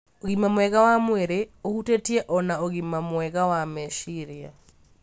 Ũgima mwega wa mwĩrĩ ũhutĩtie o na ũgima mwega wa meciria.